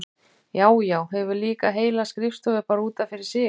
Já, já, hefur líka heila skrifstofu bara út af fyrir sig!